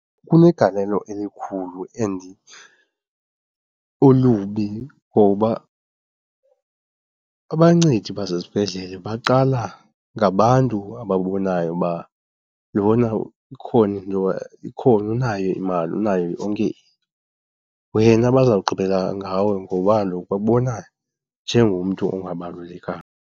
Kunegalelo elikhulu and olubi ngoba abancedi basezibhedlele baqala ngabantu ababonayo uba lona ikhona into, ikhona unayo imali unayo yonke into, wena bazawugqibela ngawe ngoba kaloku bakubona njengomntu ongabalulekanga.